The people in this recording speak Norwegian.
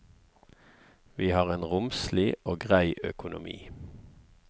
Vi har en romslig og grei økonomi.